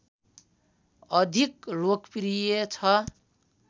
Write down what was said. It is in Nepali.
अधिक लोकप्रिय छ